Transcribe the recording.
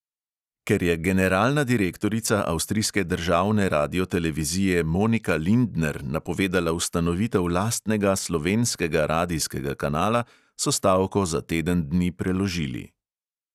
Ker je generalna direktorica avstrijske državne radiotelevizije monika lindner napovedala ustanovitev lastnega slovenskega radijskega kanala, so stavko za teden dni preložili.